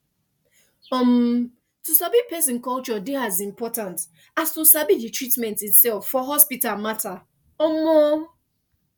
umm to sabi person culture dey as important as to sabi the treatment itself for hospital matter um